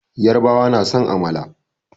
Yarbawa na son amala.